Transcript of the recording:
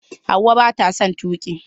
Hauwa bata son tuki.